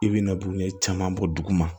I bɛna bugune caman bɔ duguma